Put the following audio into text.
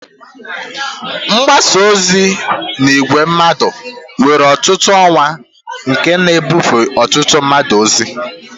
Mgbasa ozi n'ìgwè mmadụ nwere ọtụtụ ọwa nke na-ebufe ọtụtụ mmadụ ozi.